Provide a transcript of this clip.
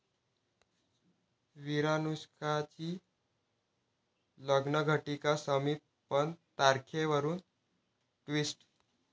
विरानुष्का'ची लग्नघटीका समीप पण तारखेवरून 'ट्विस्ट'